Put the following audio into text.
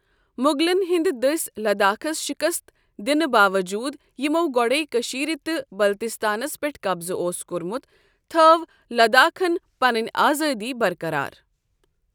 مُغلن ہِنٛدِ دٔسۍ لَداخس شِکست دِنہٕ باوجوٗد تہِ یِمو گۄڈَے کٔشیٖرِ تہٕ بلتِستانس پیٚٹھ قبضہٕ اوس کوٚرمُت تٔھٲو لَداخن پَنٕنۍ آزٲدی برقرار ۔